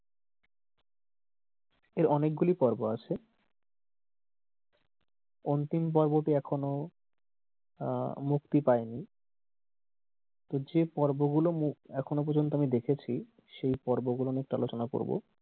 এর অনেক গুলি পর্ব আছে অন্তিম পর্বটি এখনো আহ মুক্তি পায়নি তো যে পর্ব গুলো মু এখনো পর্যন্ত আমি দেখেছি সে পর্ব গুলো নিয়ে একটু আলোচনা করবো।